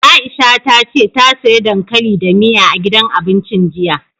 Aisha ta ce ta siya dankali da miya, a gidan abincin jiya.